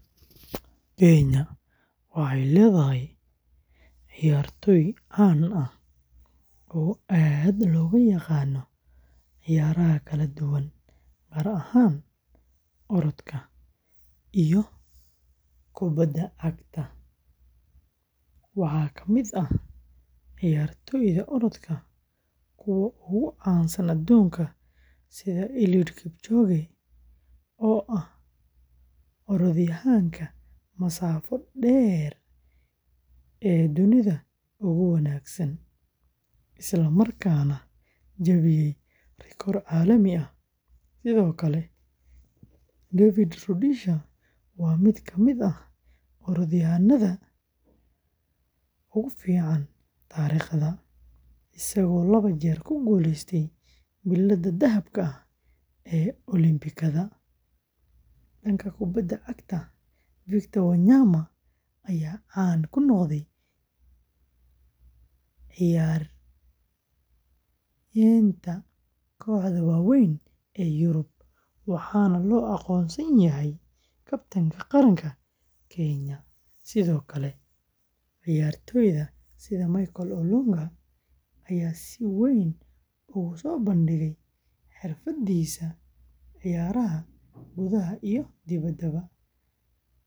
Kenya waxay leedahay cayaartooy caan ah oo aad looga yaqaan ciyaaraha kala duwan, gaar ahaan orodka iyo kubadda cagta. Waxaa ka mid ah cayaartooyda orodka kuwa ugu caansan adduunka sida Eliud Kipchoge, oo ah orodyahanka masaafo dheer ee dunida ugu wanaagsan, isla markaana jebiyay rikoor caalami ah. Sidoo kale, David Rudisha waa mid ka mid ah orodyahannada ugu fiican taariikhda, isagoo laba jeer ku guuleystay biladaha dahabka ah ee Olimbikada. Dhanka kubadda cagta, Victor Wanyama ayaa caan ku noqday ciyaaraynta kooxaha waaweyn ee Yurub, waxaana loo aqoonsan yahay kabtanka qaranka Kenya. Sidoo kale, cayaartoyda sida Michael Olunga ayaa si weyn ugu soo bandhigay xirfadiisa ciyaaraha gudaha iyo dibadda.